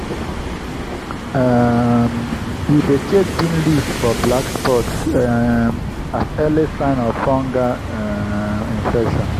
um we dey check bean leaves for black spots um as early signs of fungal um infection.